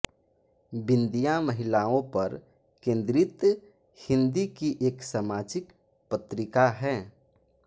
बिंदिया महिलाओं पर केन्द्रित हिन्दी की एक सामाजिक पत्रिका है